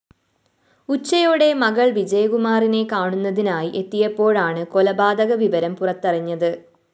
ഉച്ചയോടെ മകൾ വിജയകുമാറിനെ കാണുന്നതിനായി എത്തിയപ്പോഴാണ് കൊലപാതക വിവരം പുറത്തറിഞ്ഞത്